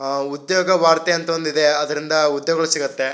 ಆ ಉದ್ಯೋಗ ವಾರ್ತೆ ಅಂತ ಒಂದಿದೆ ಅದರಿಂದ ಉದ್ಯೋಗ ಸಿಗುತ್ತೆ.